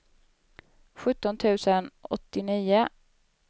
sjutton tusen åttionio